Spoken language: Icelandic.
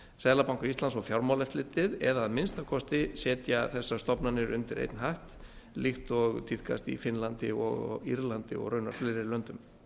seðlabanka íslands og fjármálaeftirlitið eða að minnsta kosti setja þessar stofnanir undir einn hatt líkt og tíðkast í finnlandi og á írlandi og raunar fleiri löndum